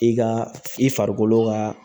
I ka i farikolo ka